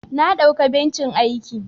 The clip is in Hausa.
Na dauka bencin aiki.